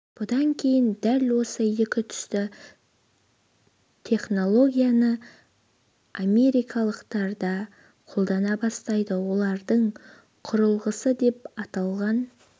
бұдан кейін дәл осы екі түсті технологияны америкалықтар да қолдана бастайды олардың құрылғысы деп аталған